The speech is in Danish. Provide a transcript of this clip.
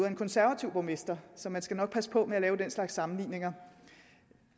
af en konservativ borgmester så man skal nok passe på med at lave den slags sammenligninger